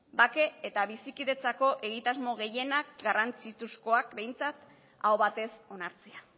bake eta bizikidetzako egitasmo gehienak garrantzitsuzkoak behintzat aho batez onartzea